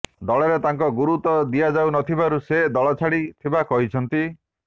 ଦଳରେ ତାଙ୍କୁ ଗୁରୁତ୍ୱ ଦିଆଯାଉ ନ ଥିବାରୁ ସେ ଦଳ ଛାଡ଼ି ଥିବା କହିଛନ୍ତି